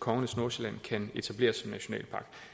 kongernes nordsjælland kan etableres som nationalpark